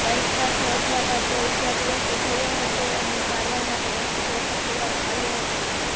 bike સાથે અથડાતા જય ઈજાગ્રસ્ત થયો હતો અને સારવાર માટે હોસ્પિટલ ખસેડવામાં આવ્યો હતો